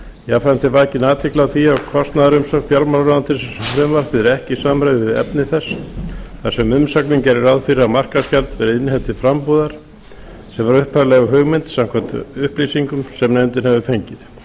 jafnframt er vakin athygli á því að kostnaðarumsögn fjármálaráðuneytis um frumvarpið er ekki í samræmi við efni þess þar sem umsögnin gerir ráð fyrir að markaðsgjald verði innheimt til frambúðar sem var upphaflega hugmyndin samkvæmt upplýsingum sem nefndin hefur fengið